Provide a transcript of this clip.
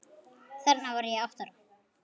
Þarna var ég átta ára.